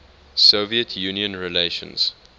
soviet union relations